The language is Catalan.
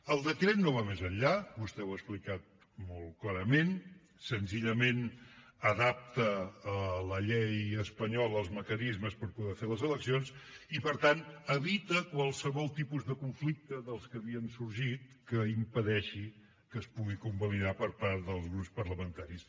el decret no va més enllà vostè ho ha explicat molt clarament senzillament adapta a la llei espanyola els mecanismes per poder fer les eleccions i per tant evita qualsevol tipus de conflicte dels que havien sorgit que impedeixi que es pugui convalidar per part dels grups parlamentaris